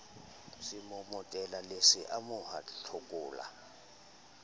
semomotela le se amoha tlokola